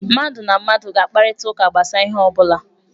Mmadụ na mmadụ ga-akparịta ụka gbasara ihe ọ bụla.